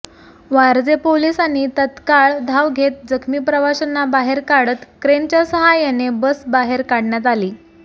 वारजे पोलासांनी तत्काळ धाव घेत जखमी प्रवाशांना बाहेर काढत क्रेनच्या सहाय्याने बस बाहेर काढण्यात आली